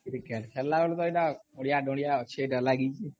cricket ଖେଳିଲା ବେଲେ ପୁରା ଅଳିଆ ଦଳିଆ ଅଛି ଏଟା ଲାଗିଛି